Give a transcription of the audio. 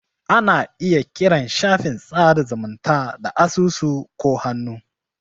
Ana iya kiran shafin sada zumunta da asusu ko hannu.